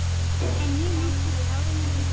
En ég minnist táranna líka.